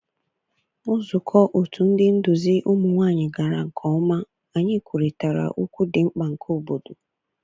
Nzukọ otu ndị nduzi ụmụ nwanyị gara nke ọma. Anyị kwurịtara okwu dị mkpa nke obodo.